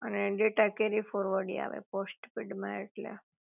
અને data carry forward એય postpaid માં એટલે